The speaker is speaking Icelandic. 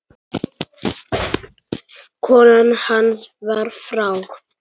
Kona hans var frá